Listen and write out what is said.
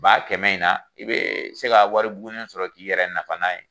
Ba kɛmɛ in na, i be se ka wari bugunen sɔrɔ k'i yɛrɛ nafa